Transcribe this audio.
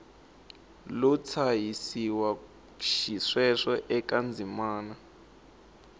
lo tshahisiwa xisweswo eka ndzimana